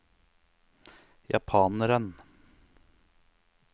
japaneren